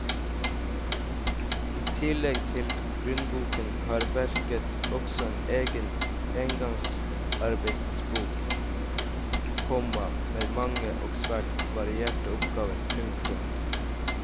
I tillegg til grunnboken har verket også en egen engangsarbeidsbok, komma med mange og svært varierte oppgaver. punktum